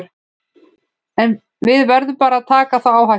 En við verðum bara að taka þá áhættu.